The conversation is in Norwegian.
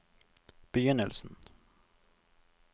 begynnelsen